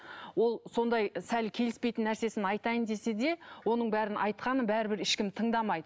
ол сондай сәл келіспейтін нәрсесін айтайын десе де оның бәрін айтқанын бәрбір ешкім тыңдамайды